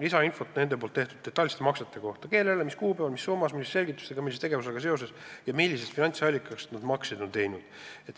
lisainfot nende detailsete maksete kohta: kellele, mis kuupäeval, mis summas, mis selgitustega, millise tegevusega seoses ja millisest finantsallikast on neid makseid tehtud.